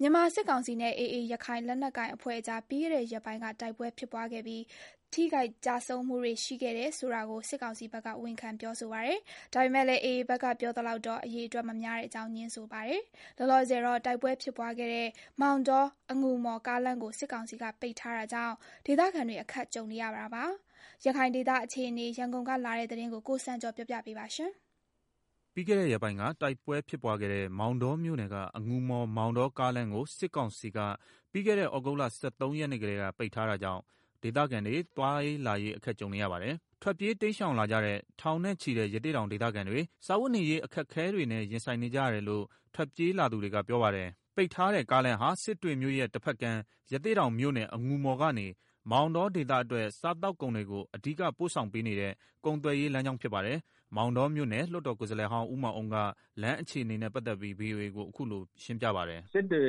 မြန်မာစစ်ကောင်စီနဲ့ AA ရခိုင်လက်နက်ကိုင်အဖွဲ့ကြား ပြီးခဲ့တဲ့ ရက်ပိုင်းကတိုက်ပွဲဖြစ်ပွားခဲ့ပြီး ထိခိုက်ကျဆုံးမှုတွေရှိခဲ့တယ်ဆိုတာကို စစ်ကောင်စီဘက်က ဝန်ခံပြောဆိုပါတယ်။ ဒါပေမယ့်လည်း AA ဘက်က ပြောသလောက် အရေအတွက်မများတဲ့အကြောင်း ငြင်းဆိုပါတယ်။ လောလောဆယ်တော့ တိုက်ပွဲဖြစ်ပွားခဲ့တဲ့ မောင်တော- အငူမော် ကားလမ်းကို စစ်ကောင်စီက ပိတ်ထားတာကြောင့် ဒေသခံတွေ အခက်ကြုံနေရတာပါ။ ရခိုင်ဒေသအခြေအနေ ရန်ကုန်ကလာတဲ့သတင်းကို ကိုစံကျော်က တင်ပြပေးထားပါတယ်။ ပြီးခဲ့တဲ့ရက်ပိုင်းက တိုက်ပွဲဖြစ်ပွားခဲ့တဲ့ မောင်တောမြို့နယ်က အငူမော်-မောင်တော ကားလမ်းကို စစ်ကောင်စီက သြဂုတ်လ ၁၃ ရက်နေ့ကတည်းက ပိတ်ထားတာကြောင့် ဒေသခံတွေ သွားရေးလာရေး အခက်ကြုံနေရပါတယ်။ ထွက်ပြေး တိမ်းရှောင်လာကြတဲ့ ထောင်နဲ့ချီတဲ့ ရသေ့တောင်ဒေသခံတွေ စားဝတ်နေရေး အခက်အခဲ တွေနဲ့ ရင်ဆိုင်နေကြရတယ်လို့ ထွက်ပြေးလာသူတွေက ပြောပါတယ်။ ပိတ်ထားတဲ့ကားလမ်းဟာ စစ်တွေမြို့ရဲ့တဘက်ကမ်း ရသေ့တောင်မြို့နယ် အငူမော်ကနေ မောင်တောဒေသအတွက် စားသောက်ကုန်တွေ အဓိက ပို့ဆောင်ပေးနေတဲ့ ကုန်သွယ်ရေးလမ်းကြောင်းဖြစ်ပါတယ်။ မောင်တောမြို့နယ် လွှတ်တော်ကိုယ် စားလှယ်ဟောင်း ဦးမောင်အုန်းက လမ်းအခြေအနေ VOA ကို အခုလို ရှင်းပြပါတယ်။ “အဲဒီ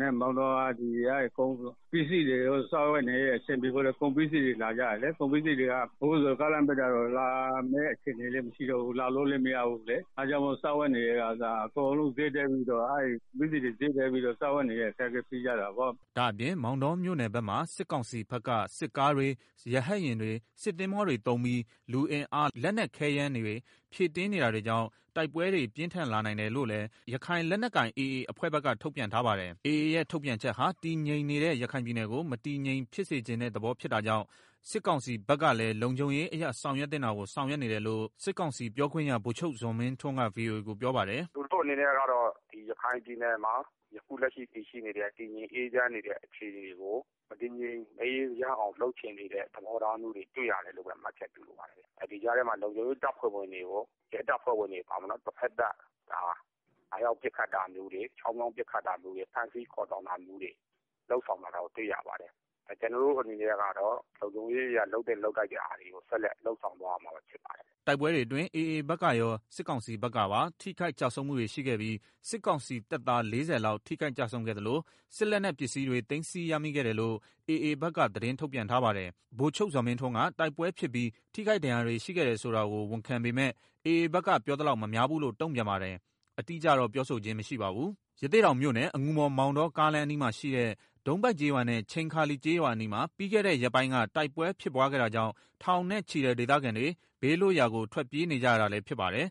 လမ်းကကုန်ပစ္စည်းတွေ အဓိကလာတယ်လေ။ အခုဆိုရင် ကားလမ်းပိတ်လိုက်တော့ လာမယ့်အစီအစဉ်လည်းမရှိတော့ဘူး။ သွားလို့လည်းမရ၊ လာလို့လည်းမရဘူးလေ။ အဲဒါကြောင့် စားဝတ်နေရေးအတွက် ကုန်ပစ္စည်းတွေက ဈေးတက်ပြီးတော့ စားဝတ်နေရေး အခက်အခဲဖြစ်ကြတာပေါ့။” ဒါ့အပြင် မောင်တောမြို့နယ်ဘက်မှာ စစ်ကောင်စီဘက်က စစ်ကားတွေ၊ ရဟတ် ယာဉ်တွေ၊ စစ်သင်္ဘောတွေသုံးပြီး လူအင်အား၊ လက်နက်ခဲယမ်းတွေ ဖြည့်တင်းနေတာတွေကြောင့် တိုက်ပွဲတွေ ပြင်းထန်လာနိုင်တယ်လို့လည်း ရခိုင်လက်နက်ကိုင် AA အဖွဲ့ဘက်က ထုတ်ပြန် ထားပါတယ်။ AA ရဲ့ထုတ်ပြန်ချက်ဟာ တည်ငြိမ်နေတဲ့ရခိုင်ပြည်နယ်ကို မတည်ငြိမ်ဖြစ်စေချင်တဲ့ သဘောဖြစ်တာကြောင့် စစ်ကောင်စီဘက်ကလည်း လုံခြုံရေးအရ ဆောင်ရွက်သင့်တာကို ဆောင်ရွက်နေတယ်လို့လည်း စစ်ကောင်စီပြောခွင့်ရ ဗိုလ်ချုပ်ဇော်မင်းထွန်းက ဗွီအိုအေကို ပြောပါတယ်။ “အခုလက်ရှိ တည်ငြိမ်းအေးချမ်းနေတဲ့အခြေအနေကို မတည်ငြိမ်မအေးချမ်းအောင် လုပ်ချင်နေတဲ့သဘောထားမျိုးတွေ တွေ့ရတယ်။ AA ဘက်က ဒီကြားထဲမှာ လုံခြုံရေး တပ်ဖွဲ့ဝင်တွေ ရဲတပ်ဖွဲ့ဝင်တွေကို ဖမ်းဆီးတာတွေ လုပ်ဆောင်နေတာတွေတွေ့ရတယ်။ ကျနော်တို့အနေနဲ့ကတော့ လုံခြုံရေးအရ လုပ်သင့်လုပ်ထိုက်တာကို လုပ်ဆောင်သွားရမှာ ဖြစ်ပါတယ်။” တိုက်ပွဲတွေအတွင်း AA ဘက်ကရော။ စစ်ကောင်စီဘက်ကပါ ထိခိုက်ကျဆုံးမှုတွေရှိခဲ့ပြီး စစ်ကောင်စီတပ်သား ၄၀ လောက် ထိုခိုက်ကျဆုံးခဲ့သလို စစ်လက်နက် ပစ္စည်းတွေ သိမ်းဆည်းရမိခဲ့တယ်လို့ AA ဘက်က သတင်းထုတ်ပြန်ထားပါတယ်။ ဗိုလ်ချုပ်ဇော်မင်းထွန်းက တိုက်ပွဲဖြစ်ပြီး ထိခိုက်ဒဏ်ရာရမှုတွေ ရှိခဲ့တယ်ဆိုတာကို ဝန်ခံပေမယ့် AA ဘက်က ပြောသလောက် မများဘူးလို့ တုံ့ပြန်ပါတယ်။ အတိအကျတော့ ပြောဆိုခြင်း မရှိပါဘူး။ ရသေ့တောင်မြို့နယ် အငူမော်-မောင်တော ကားလမ်းအနီးမှာရှိတဲ့ ဒုံးပိုက် ကျေးရွာနဲ့ ချိန်ခါလီကျေးရွာအနီးမှာ ပြီးခဲ့တဲ့ရက်ပိုင်းက တိုက်ပွဲ ဖြစ်ပွားခဲ့တာကြောင့် ထောင်နဲ့ချီတဲ့ဒေသခံတွေ ဘေးလွတ်ရာကို ထွတ်ပြေးနေကြရတာလည်းဖြစ်ပါတယ်။